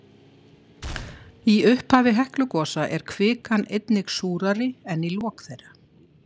Í upphafi Heklugosa er kvikan einnig súrari en í lok þeirra.